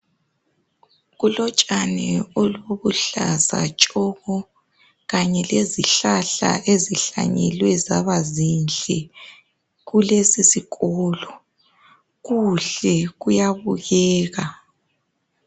kulotshani olubuhlaza tshoko kanye lezihlahla ezihlanyelwe zaba zinhle kulesi sikolo kuhle kuyabukeka